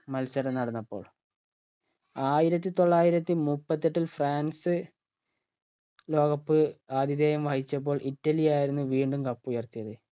മത്സരം നടന്നപ്പോൾ ആയിരത്തി തൊള്ളായിരത്തി മുപ്പത്തെട്ടിൽ ഫ്രാൻസ് ലോക cup ആധിധേയം വഹിചപ്പോൾ ഇറ്റലിയായിരുന്നു വീണ്ടും cup ഉയർത്തിയത്